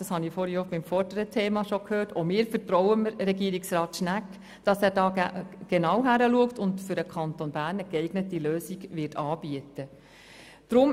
Die BDP vertraut dem Regierungsrat, dass er hier genau hinschaut und für den Kanton Bern eine geeignete Lösung anbieten wird.